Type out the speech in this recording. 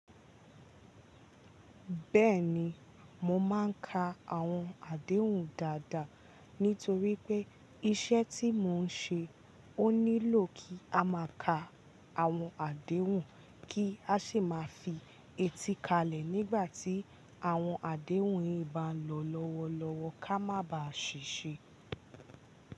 Bẹ́ẹ̀ni, mo máa ń ka àwọn àdéhùn dáadáa, nítorí pé iṣẹ́ tí mò ń ṣe ó nílò kí a máa ka àwọn àdéhùn kí a sì máa fi ètí kalẹ̀ nígbà tí àwọn àdéhùn yìí bá ń lọ lọ́wọ́lọ́wọ́ ká má bàá ṣìṣe.